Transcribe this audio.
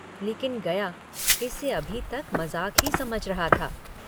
लेकिन गया इसे अभी तक मजाक ही समझ रहा था।